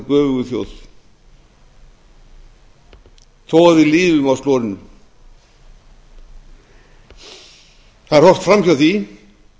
göfugu þjóð þó að við lifum á slorinu það er horft fram hjá því